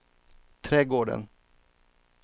trädgården